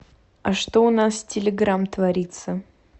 а что у нас с телеграм творится